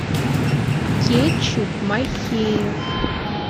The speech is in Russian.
кетчуп махеев